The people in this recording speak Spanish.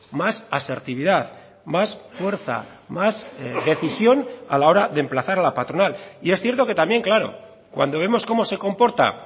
más asertividad más fuerza más decisión a la hora de emplazar a la patronal y es cierto que también claro cuando vemos cómo se comporta